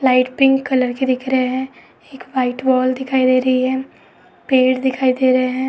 Light pink colour के दिख रहे हैं। एक व्हाइट वॉल दिखाई दे रही है। पेड़ दिखाई दे रहे हैं।